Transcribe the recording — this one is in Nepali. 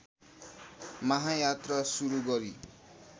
महायात्रा सुरू गरी